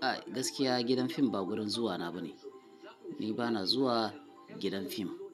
A gaskiya gidan fim ba gurin zuwa na bane. Ni bana zuwa gidan fim.